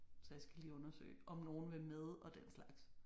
Så jeg skal lige undersøge om nogen vil med og den slags